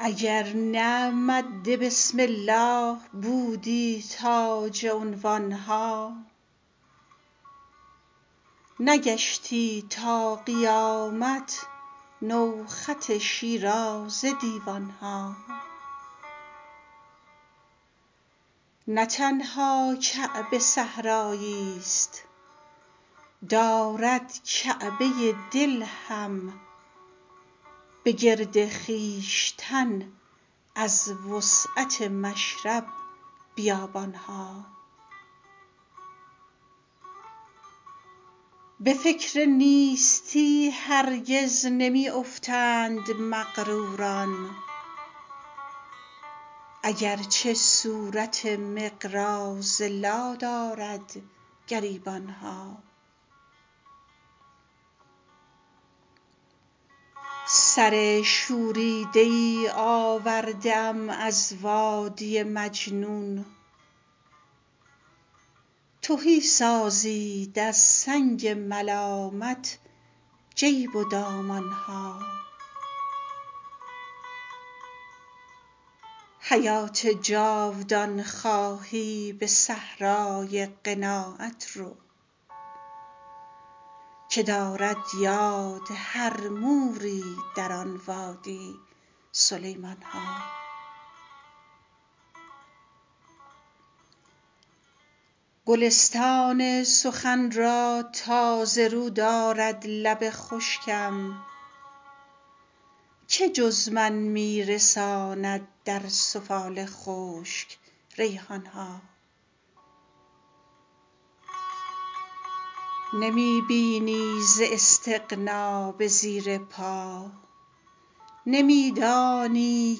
اگر نه مد بسم الله بودی تاج عنوان ها نگشتی تا قیامت نو خط شیرازه دیوان ها نه تنها کعبه صحرایی ست دارد کعبه دل هم به گرد خویشتن از وسعت مشرب بیابان ها به فکر نیستی هرگز نمی افتند مغروران اگرچه صورت مقراض لا دارد گریبان ها سر شوریده ای آورده ام از وادی مجنون تهی سازید از سنگ ملامت جیب و دامان ها حیات جاودان خواهی به صحرای قناعت رو که دارد یاد هر موری در آن وادی سلیمان ها گلستان سخن را تازه رو دارد لب خشکم که جز من می رساند در سفال خشک ریحان ها نمی بینی ز استغنا به زیر پا نمی دانی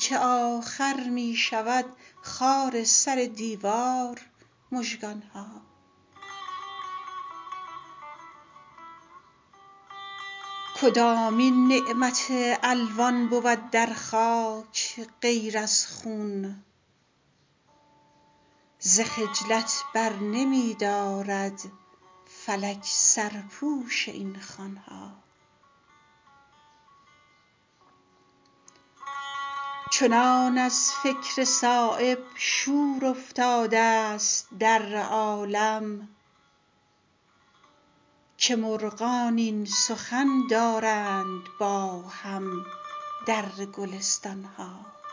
که آخر می شود خار سر دیوار مژگان ها کدامین نعمت الوان بود در خاک غیر از خون ز خجلت برنمی دارد فلک سرپوش این خوان ها چنان از فکر صایب شور افتاده ست در عالم که مرغان این سخن دارند با هم در گلستان ها